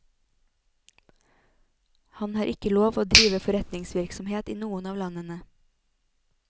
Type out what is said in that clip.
Han har ikke lov å drive forretningsvirksomhet i noen av landene.